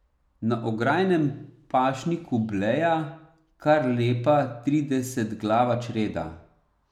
Na ograjenem pašniku bleja kar lepa tridesetglava čreda.